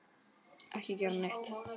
Ekki gera neitt.